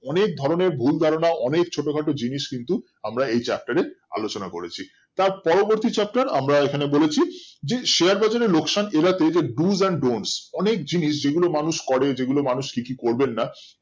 অনেক ধরণের ভুল ধারণা অনেক ছোট খাটো জিনিস কিন্তু আমরা এই Chaptar এ আলোচনা করেছি তার পরবর্তী Chaptar আমরা এইখানে বলেছি যে share বাজার এ লোকসান এড়াতে যে dos & don'ts অনেক জিনিস যেগুলো মানুষ করে যেগুলো মানুষ কিছু করবেন না